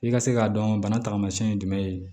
I ka se k'a dɔn bana taamasiyɛn ye jumɛn ye